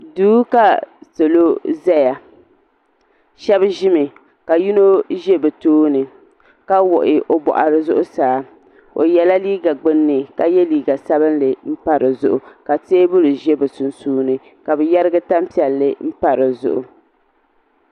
duu ka salo zaya shɛba ʒimi ka yino ʒe bɛ tooni ka wuɣi o buɣari zuɣusaa o yela liiga gbunni ka ye liiga sabinli m-pa di zuɣu ka teebuli ʒe bɛ sunsuuni la bɛ yerigi tampiɛlli m-pa di zuɣu.